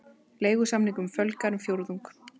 Leigusamningum fjölgar um fjórðung